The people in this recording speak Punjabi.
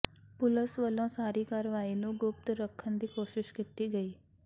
ਪੁਲਸ ਵਲੋਂ ਸਾਰੀ ਕਾਰਵਾਈ ਨੂੰ ਗੁਪਤ ਰਖਨ ਦੀ ਕੋਸ਼ਿਸ਼ ਕੀਤੀ ਗਈ